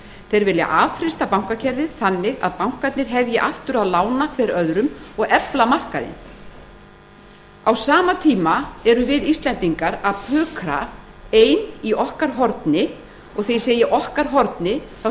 þeir vilja affrysta bankakerfið þannig að bankarnir hefji aftur að lána hver öðrum og efla markaðinn á sama tíma erum við íslendingar að pukra ein í okkar horni og þegar ég segi okkar horni þá